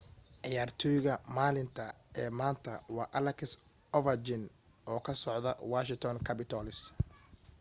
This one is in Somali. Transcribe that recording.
ciyaartoyga maalinta ee maanta waa alex overchkin oo ka socda washington capitals